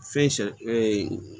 Fɛn sɛ